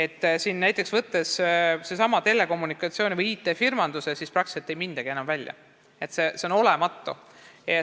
Kui võtta näiteks seesama telekommunikatsioon või IT-firmad, siis praktiliselt ei mindagi enam välja, see protsent on olematu.